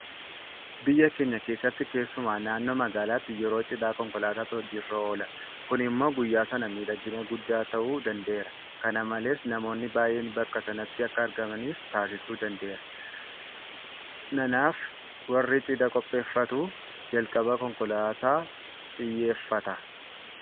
Biyya keenya keessatti keessumaa naannoo magaalaatti yeroo Cidhaa konkolaataatu hojii irra oola. Kun immoo guyyaa sana miidhagina guddaa ta'uu danda'eera. Kana malees namoonni baay'een bakka sanatti akka argamanis taasisuu danda'eera. Nanaaf warri cidha qopheeffatu jalqaba Konkolaataa iyyaafata.